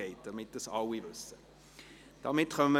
Einfach, damit das alle wissen.